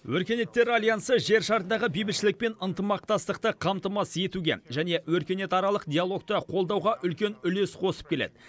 өркениеттер альянсы жер шарындағы бейбітшілік пен ынтымақтастықты қамтамасыз етуге және өркениетаралық диалогты қолдауға үлкен үлес қосып келеді